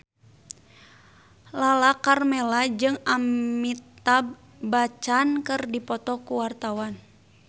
Lala Karmela jeung Amitabh Bachchan keur dipoto ku wartawan